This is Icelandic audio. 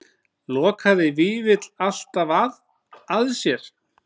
Lokaði Vífill alltaf að sér?